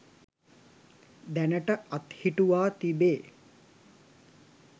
දැනට අත්හිටුවා තිබේ.